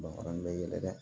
bɛ yɛlɛ dɛ